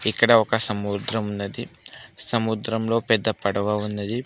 ఇక్కడ ఒక సముద్రం ఉన్నది సముద్రంలో పెద్ద పడవ ఉన్నది.